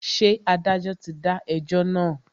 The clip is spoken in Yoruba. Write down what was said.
Ṣé adájọ́ ti dá ẹjọ́ náà?